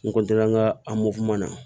N n ka na